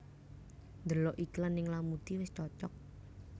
Ndelok iklan ning Lamudi wis cocok